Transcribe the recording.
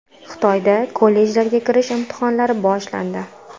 Xitoyda kollejlarga kirish imtihonlari boshlandi.